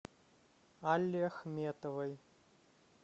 алле ахметовой